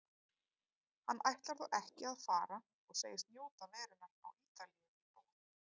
Hann ætlar þó ekki að fara og segist njóta verunnar á Ítalíu í botn.